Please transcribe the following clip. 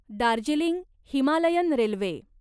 Darjeeling Himalayan railway